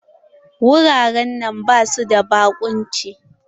Wuraren nan basu da baƙunci.